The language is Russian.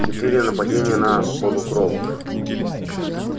четыре нападения на полукровок